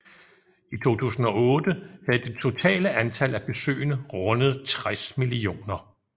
I 2008 havde det totale antal af besøgende rundet 60 millioner